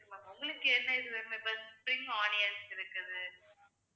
உங்களுக்கு என்ன இது வேணுமோ இப்ப spring onion இருக்குது